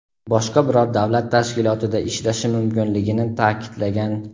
boshqa biror davlat tashkilotida ishlashi mumkinligini ta’kidlagan.